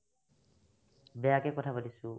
বেয়াকে কথা পাতিছো